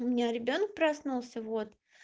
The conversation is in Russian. у меня ребёнок проснулся вот